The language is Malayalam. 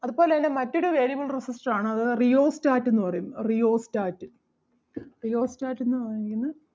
അതുപോലെ തന്നെ മറ്റൊരു variable resistor ആണ് അത് rheostat എന്ന് പറയും rheostat rheostat എന്ന് പറഞ്ഞു കഴിഞ്ഞ